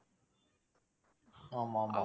ஆமா ஆமா.